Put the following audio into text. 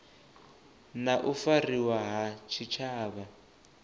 na u fariwa ha tshitshavha